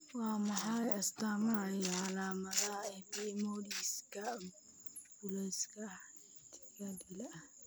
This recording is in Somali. Waa maxay astamaha iyo calaamadaha Epidermolysiska bullosa, acantholytika dilaa ah?